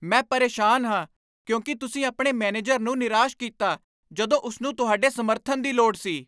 ਮੈਂ ਪਰੇਸ਼ਾਨ ਹਾਂ ਕਿਉਂਕਿ ਤੁਸੀਂ ਆਪਣੇ ਮੈਨੇਜਰ ਨੂੰ ਨਿਰਾਸ਼ ਕੀਤਾ ਜਦੋਂ ਉਸ ਨੂੰ ਤੁਹਾਡੇ ਸਮਰਥਨ ਦੀ ਲੋੜ ਸੀ।